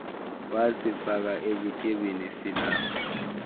wasifaka ebutyebini silapha